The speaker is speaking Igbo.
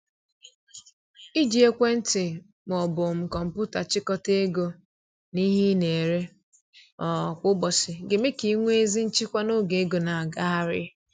Iji ekwentị ma ọ bụ um kọmpụta chịkọta ego na ihe ị na-ere um kwa ụbọchị ga eme ka i nwee ezi nchịkwa n’oge ego na agagharị um